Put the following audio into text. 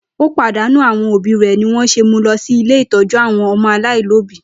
Ó pàdánù àwọn òbí rẹ̀ nì wọ́n se mú lọ sí ilé ìtọ́jú àwọn ọmọ aláìlóbí.